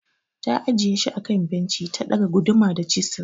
Ta ajiye shi akan benci ta ɗaga guduma da chisil.